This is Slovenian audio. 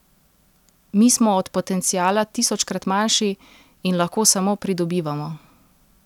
Mi smo od potenciala tisočkrat manjši in lahko samo pridobivamo.